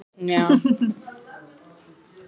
Þegar var búið að bjarga menningararfinum.